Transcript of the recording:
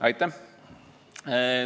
Aitäh!